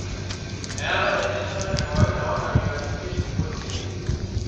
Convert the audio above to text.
Eeta erishata ekawaida ooldakikani imiet orpisiai.